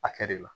A kɛ de la